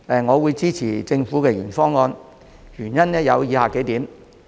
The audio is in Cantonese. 我支持政府的原議案，原因有以下數點。